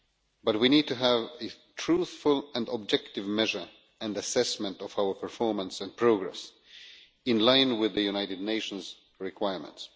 But we need to have a truthful and objective measure and assessment of our performance and progress in line with the United Nations requirements.